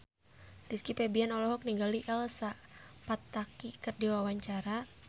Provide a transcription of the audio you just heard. Rizky Febian olohok ningali Elsa Pataky keur diwawancara